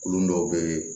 Kulon dɔw bɛ yen